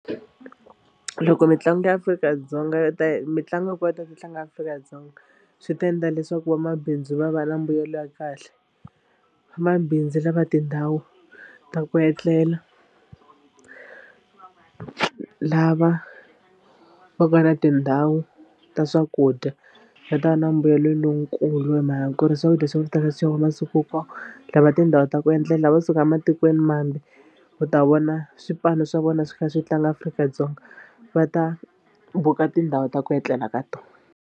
Loko mitlangu ya Afrika-Dzonga yo ta mitlangu yi kota ku tlanga Afrika-Dzonga swi ta endla leswaku vamabindzu va va na mbuyelo ya kahle. Vamabindzu lava tindhawu ta ku etlela lava va nga na tindhawu ta swakudya va ta va na mbuyelo lonkulu hi mhaka ku ri swakudya swa ku tala swi xaviwa masiku hinkwawo. Lava tindhawu ta ku etlela lava kusuka matikwenimambe ku ta vona swipano swa vona swi kha swi tlanga Afrika-Dzonga va ta buka tindhawu ta ku etlela ka tona.